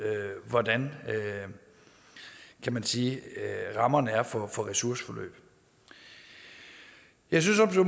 hvordan kan man sige rammerne er for ressourceforløb jeg synes